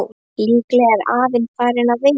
Líklega var afinn að fara á veiðar.